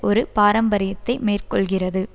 ஒரு பாரம்பரியத்தை மேற்கொள்கிறது